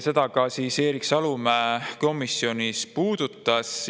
Seda ka Erik Salumäe komisjonis puudutas.